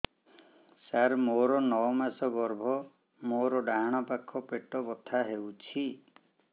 ସାର ମୋର ନଅ ମାସ ଗର୍ଭ ମୋର ଡାହାଣ ପାଖ ପେଟ ବଥା ହେଉଛି